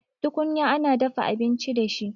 Tukunya ana dafa abinci da shi